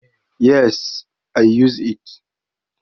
Yes, i used it.